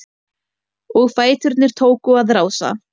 Og fæturnir tóku að rása-